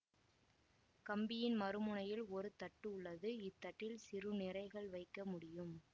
கம்பியின் மறு முனையில் ஒரு தட்டு உள்ளது இத்தட்டில் சிறு நிறைகள் வைக்க முடியும்